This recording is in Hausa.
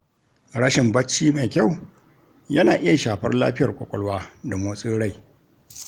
Rashin bacci mai kyau yana iya shafar lafiyar kwakwalwa da motsin rai.